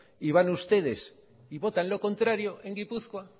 y van ustedes y votan lo contrario en gipuzkoa